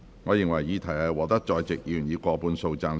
我認為議題獲得在席議員以過半數贊成。